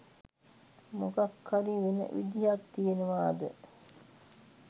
මොකක් හරි වෙන විදියක් තියෙනවද?